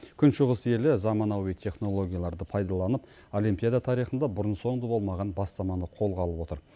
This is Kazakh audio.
күншығыс елі заманауи технологияларды пайдаланып олимпиада тарихында бұрын соңды болмаған бастаманы қолға алып отыр